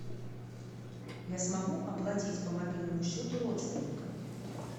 я смогу оплатить по мобильному счету родственника